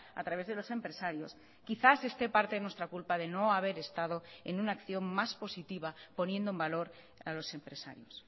a través de los empresarios quizás esté parte de nuestra culpa de no haber estado en una acción más positiva poniendo en valor a los empresarios